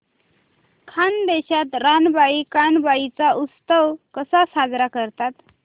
खानदेशात रानबाई कानबाई चा उत्सव कसा साजरा करतात